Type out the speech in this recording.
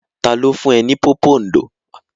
Ta ló fún ẹ ní pòpondò?